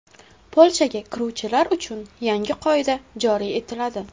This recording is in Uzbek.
Polshaga kiruvchilar uchun yangi qoida joriy etiladi.